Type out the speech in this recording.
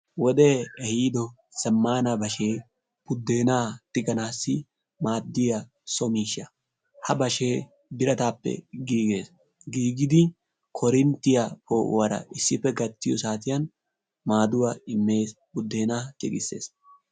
wodee ehiido zammaana bashshee buddenaa tiganaasi aadiyaa so miishsha. ha bashshee bitaatappe giigees. giigidi korinttiyaa po"uwaara issippe gaattiyoo saatiyaan maadduwaa immees. buddenaa tigissees.